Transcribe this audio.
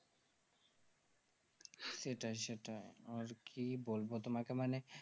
সেটাই সেটাই আর কি বলবো তোমাকে মানে